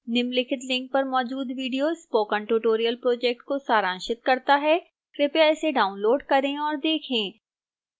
निम्नलिखित link पर मौजूद video spoken tutorial project को सारांशित करता है कृपया इसे डाउनलोड करें और देखें